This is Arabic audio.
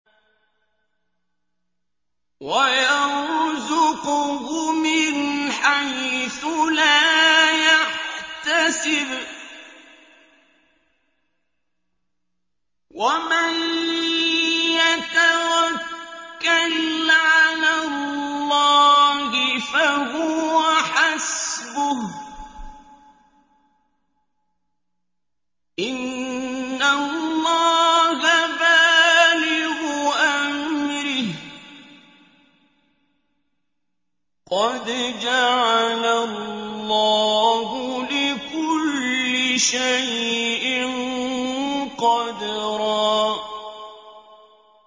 وَيَرْزُقْهُ مِنْ حَيْثُ لَا يَحْتَسِبُ ۚ وَمَن يَتَوَكَّلْ عَلَى اللَّهِ فَهُوَ حَسْبُهُ ۚ إِنَّ اللَّهَ بَالِغُ أَمْرِهِ ۚ قَدْ جَعَلَ اللَّهُ لِكُلِّ شَيْءٍ قَدْرًا